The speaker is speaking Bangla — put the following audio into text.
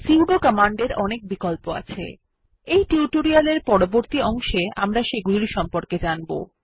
সুদো কমান্ড এর অনেক বিকল্প আছে এই টিউটোরিয়াল এর পরবর্তী অংশে আমরা সেগুলির সম্পর্কে জানব